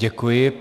Děkuji.